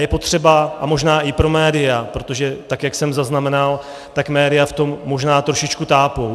Je potřeba - a možná i pro média, protože tak jak jsem zaznamenal, tak média v tom možná trošičku tápou.